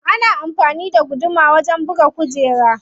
Ana amfani da guduma wajen buga kujera.